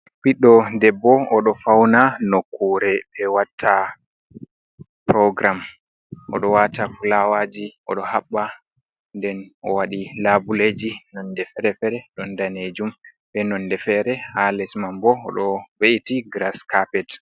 Biddo debbo odo fauna nokkure be watta program odo wata fulawaji odo habba nden o wadi labuleji nonde fere-fere don danejum be nonde fere ha lesman bo o do ve’iti grass carpet.